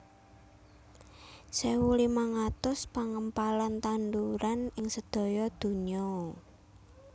sewu limang atus pangempalan tanduran ing sedaya dunya